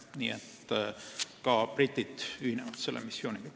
Nii et ka britid ühinevad selle missiooniga.